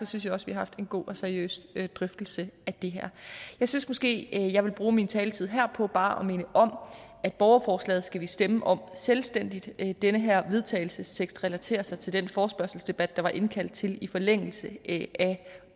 synes jeg også vi har haft en god og seriøs drøftelse af det her jeg synes måske jeg vil bruge min taletid her på bare at minde om at borgerforslaget skal vi stemme om selvstændigt at den her vedtagelsestekst relaterer sig til den forespørgselsdebat der var indkaldt til i forlængelse af